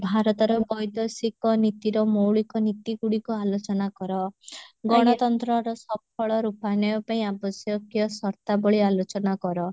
ଭାରତର ନୀତିର ମୌଳିକନୀତି ଗୁଡିକ ଆଲୋଚନା କର ଗଣତନ୍ତ୍ରର ସଫଳ ରୂପାନୟ ପାଇଁ ଆବଶ୍ୟକିୟ ସର୍ତାବଳୀ ଆଲୋଚନା କର